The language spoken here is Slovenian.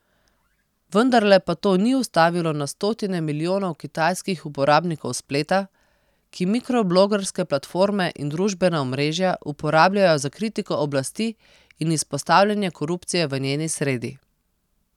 Vendarle pa to ni ustavilo na stotine milijonov kitajskih uporabnikov spleta, ki mikroblogerske platforme in družbena omrežja uporabljajo za kritiko oblasti in izpostavljanje korupcije v njeni sredi.